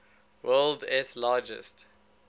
world s largest